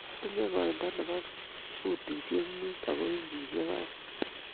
Atinye koindo nebo butishek muut ago inchishek aeng--